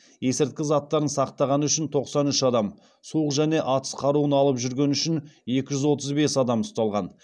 есірткі заттарын сақтағаны үшін тоқсан үш адам суық және атыс қаруын алып жүргені үшін екі жүз отыз бес адам ұсталған